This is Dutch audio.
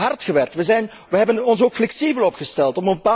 We hebben hard gewerkt, we hebben ons ook flexibel opgesteld.